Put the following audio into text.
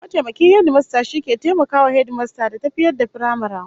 Mataimakin hedimasta shi ke taimakawa hedimastan da tafiyar da firamaren